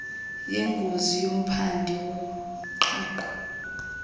yengozi nomphandi woqhaqho